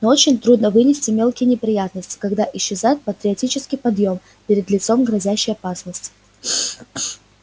но очень трудно вынести мелкие неприятности когда исчезает патриотический подъём перед лицом грозящей опасности